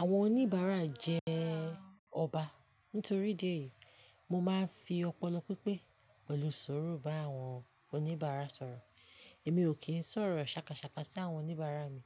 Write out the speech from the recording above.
Àwọn oníbàárà jẹ́ ọba. Nítorí ìdí èyí, mo máa ń fi ọpọlọ pípé pẹ̀lú sùrù bá àwọn oníbàárà sọ̀rọ̀. Èmi ò kìn sọ̀rọ̀ ṣàkàṣàkà sí àwọn oníbàárà mi